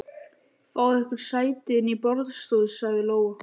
Fáið ykkur sæti inni í borðstofu, sagði Lóa.